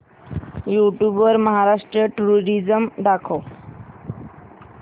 YouTube वर Maharashtra tourism दाखव